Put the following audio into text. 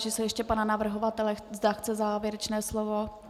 Táži se ještě pana navrhovatele, zda chce závěrečné slovo.